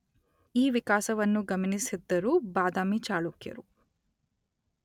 ಈ ವಿಕಾಸವನ್ನು ಗಮನಿಸಿದ್ದರು ಬಾದಾಮಿ ಚಾಳುಕ್ಯರು